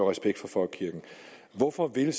respekt for folkekirken hvorfor vil